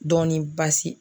Dɔɔnin basi.